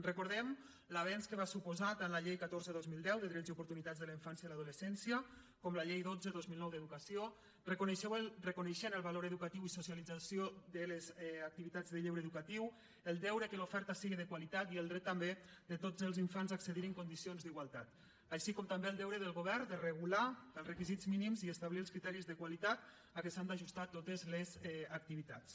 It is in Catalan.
recordem l’avenç que van suposar tant la llei catorze dos mil deu de drets i oportunitats de la infància i l’adolescència com la llei dotze dos mil nou d’educació reconeixent el valor educatiu i socialitzador de les activitats de lleure educatiu el deure que l’oferta siga de qualitat i el dret també de tots els infants a accedir hi en condicions d’igualtat així com també el deure del govern de regular els requisits mínims i establir els criteris de qualitat a què s’han d’ajustar totes les activitats